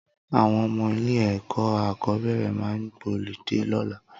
Awọn ọmọ ilé ẹkọ akọbẹrẹ mà gbọlidé lọ̀là